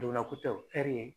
Dogonna ko tɛ o ɛri ye